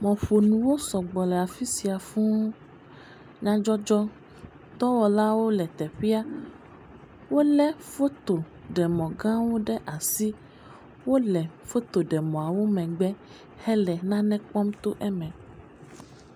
Mɔƒonuwo sɔgbɔ le afi sia fuu, nyadzɔdzɔ dɔwɔlawo le teƒea. Wolé fotoɖemɔ gãwo ɖe asi. Wole fotoɖemɔawo megbe hele nane kpɔm to eme.